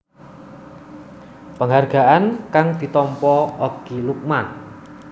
Penghargaan kang ditampa Okky Lukman